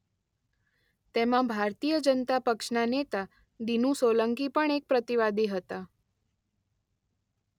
તેમાં ભારતીય જનતા પક્ષના નેતા દીનુ સોલંકી પણ એક પ્રતિવાદી હતા.